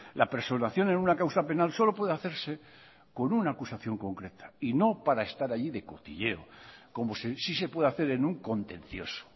la personación en una causa penal solo puede hacerse con una acusación concreta y no para estar allí de cotilleo como sí se puede hacer en un contencioso